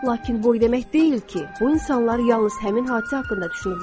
Lakin bu o demək deyil ki, bu insanlar yalnız həmin hadisə haqqında düşünüblər.